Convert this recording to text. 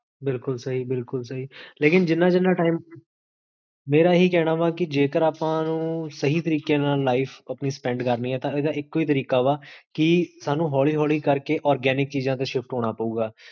ਬਿਲਕੁਲ ਸਹੀ, ਬਿਲਕੁਲ ਸਹੀ, ਲੇਕਿਨ ਜਿੰਨਾ ਜਿੰਨਾ time, ਮੇਰਾ ਇਹੀ ਕਹਨਾ ਵਾ, ਕੀ ਜੇਕਰ ਆਪਾਂ ਨੂੰ ਸਹੀ ਤਰੀਕੇ ਨਾਲ, life ਆਪਣੀ spend ਕਰਨੀ ਹੈ ਤਾਂ, ਏਦਾ ਇਕੋ ਹੀ ਤਰੀਕਾ ਵਾ, ਕੀ ਸਾਨੂ ਹੋਲੀ ਹੋਲੀ ਕਰ ਕੇ organic ਚੀਜਾਂ ਤੇ ਸ਼ਿਫਟ ਹੋਣਾ ਪਾਉਗਾ